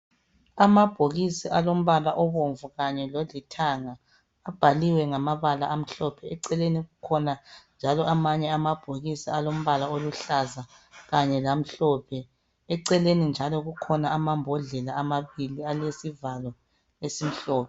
Amabhokisi alombala obomvu kanye lolithanga abhaliwe ngamabala amhlophe. Eceleni kukhona njalo amanye amabhokisi alombala aluhlaza kanye lamhlophe. Eceleni njalo kukhona amambodlela amabili alezivalo ezimhlophe.